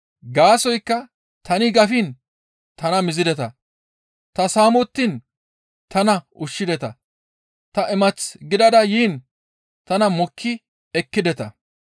Gaasoykka tani gafiin tana mizideta; ta saamettiin tana ushshideta; ta imath gidada yiin tana mokki ekkideta.